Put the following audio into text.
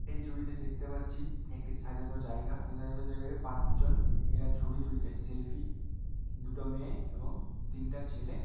এই ছবিতে দেখতে পাচ্ছি একটি সাজানো জায়গা। জায়গায় পাঁচজন এরা ছবি তুলছে সেলফি দুটো মেয়ে এবং তিনটা ছেলে।